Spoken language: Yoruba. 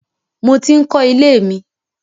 Mo ti ń kọ ilé mi.